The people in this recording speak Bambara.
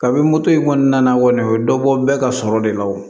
Kabi moto in kɔnɔna na kɔni o bɛ dɔ bɔ bɛɛ ka sɔrɔ de la o